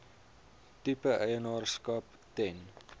tipe eienaarskap ten